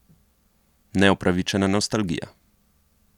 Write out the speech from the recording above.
Neupravičena nostalgija.